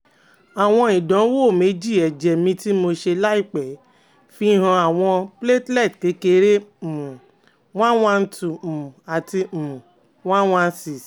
Awọn idanwo meji ẹjẹ mi ti mo se laipe fihan awọn platelet kekere um one one two[um] ati um one one six